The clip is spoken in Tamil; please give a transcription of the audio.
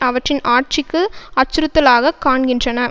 அவற்றின் ஆட்சிக்கு அச்சுறுத்தலாக காண்கின்றன